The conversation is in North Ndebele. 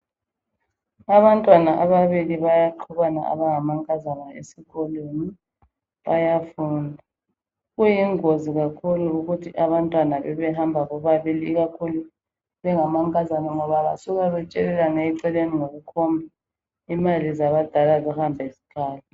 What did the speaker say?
Abantwana ababili bayaqhubana abangamankazana esikolweni bayafunda. Kuyingozi kakhulu ukuthi abantwana bebebehamba bebabili ikakhulu bengamankazana ngoba basuka betshelelane eceleni ngokukhomba, imali zabadala zihambe zikhala.